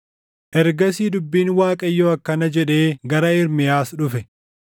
Ergasii dubbiin Waaqayyoo akkana jedhee gara Ermiyaas dhufe: